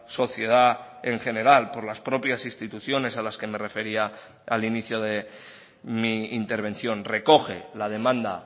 sociedad en general por las propias instituciones a las que me refería al inicio de mi intervención recoge la demanda